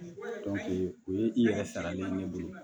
o ye i yɛrɛ saralen ye ne bolo